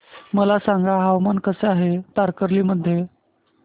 मला सांगा हवामान कसे आहे तारकर्ली मध्ये